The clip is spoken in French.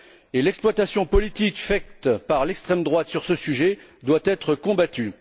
De même, l'exploitation politique faite par l'extrême droite sur ce sujet doit être combattue.